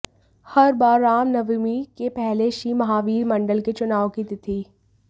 हर बार रामनवमी के पहले श्री महावीर मंडल के चुनाव की तिथि